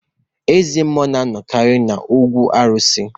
Ezemụọ na anọkari na okwu arụsị.